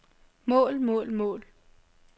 mål mål mål